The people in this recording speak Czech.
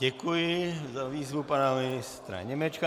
Děkuji za výzvu pana ministra Němečka.